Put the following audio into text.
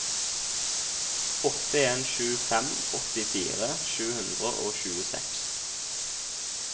åtte en sju fem åttifire sju hundre og tjueseks